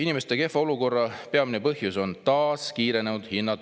"Inimeste kehva olukorra peamine põhjus on taas kiirenenud hinnatõus.